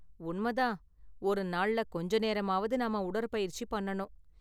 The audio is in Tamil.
உண்ம தான், ஒரு நாள்ல கொஞ்ச நேரமாவது நாம உடற்பயிற்சி பண்ணனும்.